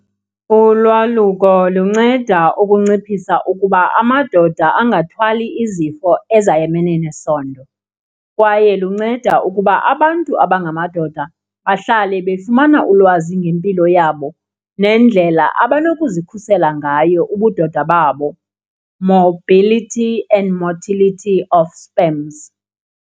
Ulwaluko lunceda ukunciphisa ukuba amadoda angathwali izifo ezayamene nesondo kwaye lunceda ukuba abantu abangamadoda bahlale befumana ulwazi ngempilo yabo nendlela abanokuzikhusela ngayo ubudoda babo, mobility and motility of sperms.